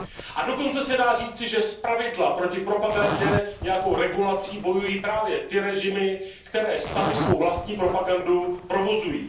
A dokonce se dá říci, že zpravidla proti propagandě nějakou regulací bojují právě ty režimy, které samy svou vlastní propagandu provozují.